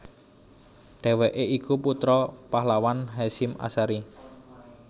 Dheweke iku putra pahlawan Hasyim Ashari